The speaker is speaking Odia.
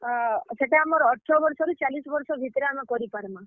ଅ, ସେଟା ଆମର୍ ଅଠର ବର୍ଷ ରୁ ଚାଲିଶ୍ ବର୍ଷ ଭିତ୍ ରେ ଆମେ କରି ପାର୍ ମା।